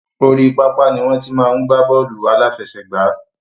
Orí pápá ni wọn ti máa ń gba bọ́ọ́lù alafẹsẹ̀gbà